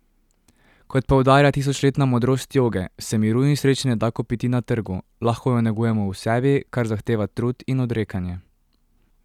Kot poudarja tisočletna modrost joge, se miru in sreče ne da kupiti na trgu, lahko ju negujemo v sebi, kar zahteva trud in odrekanje.